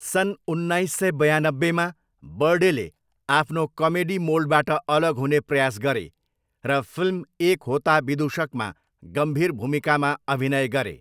सन् उन्नाइस सय बयानब्बेमा, बर्डेले आफ्नो कमेडी मोल्डबाट अलग हुने प्रयास गरे र फिल्म एक होता विदुशकमा गम्भीर भूमिकामा अभिनय गरे।